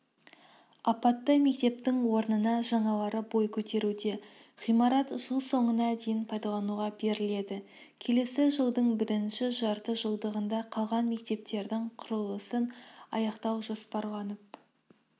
апатты мектептің орнына жаңалары бой көтеруде ғимарат жыл соңына дейін пайдалануға беріледі келесі жылдың бірінші жартыжылдығында қалған мектептердің құрылысын аяқтау жоспарланып